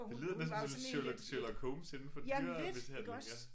Det lyder næsten som sådan Sherlock Sherlock Holmes indenfor dyremishandling ja